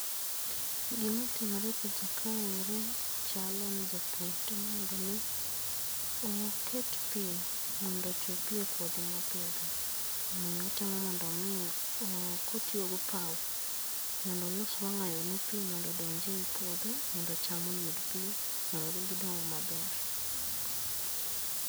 Gima timore e picha kaeri chal ni japur temo mondo omi oket pi mondo ochopie kothi mopitho omiyo otemo mondo omi kotio gopao mondo olos wang’ayo ne pi mondo odonj ei puodho mondo cham oyud pi mondo gidong maber.